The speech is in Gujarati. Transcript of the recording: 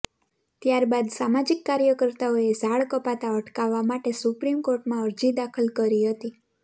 ત્યારબાદ સામાજીક કાર્યકર્તાઓએ ઝાડ કપાતા અટકાવવા માટે સુપ્રીમ કોર્ટમાં અરજી દાખલ કરી હતી